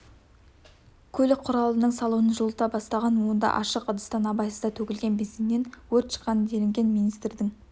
көлік құралының салонын жылыта бастаған онда ашық ыдыстан абайсызда төгілген бензиннен өрт шыққан делінген министрдің